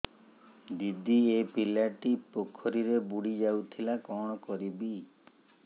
ଦିଦି ଏ ପିଲାଟି ପୋଖରୀରେ ବୁଡ଼ି ଯାଉଥିଲା କଣ କରିବି